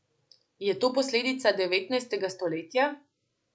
Je to posledica devetnajstega stoletja?